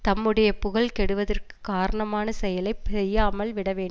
தம்முடைய புகழ் கெடுவதற்குக் காரணமான செயலை செய்யாமல் விட வேண்